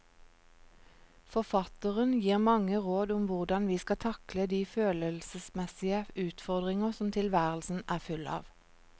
Forfatteren gir mange råd om hvordan vi skal takle de følelsesmessige utfordringer som tilværelsen er full av.